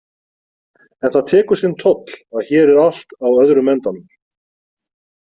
En það tekur sinn toll að hér er allt á öðrum endanum.